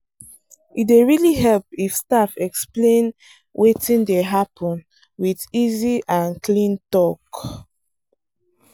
e dey really help if staff explain wetin dey happen with easy and clean talk.